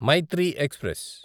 Mythri express